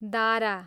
दाह्रा